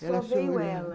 Só veio ela.